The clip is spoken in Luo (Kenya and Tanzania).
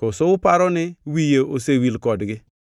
Koso uparo ni wiye osewil kodgi.